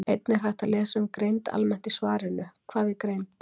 Einnig er hægt að lesa um greind almennt í svarinu Hvað er greind?